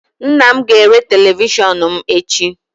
Nnam ga-ere televishionum echi